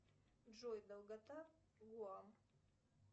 джой долгота гоа